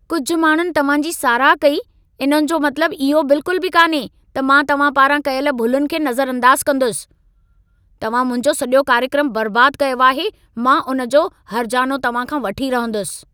कुझु माण्हुनि तव्हां जी साराह कई, इन जो मतलब इहो बिल्कुल बि कान्हे त मां तव्हां पारां कयल भुलुनि खे नज़रअंदाज़ कंदुसि। तव्हां मुंहिंजो सॼो कार्यक्रम बर्बाद कयो आहे। मां उन जो हर्जानो तव्हां खां वठी रहंदुसि।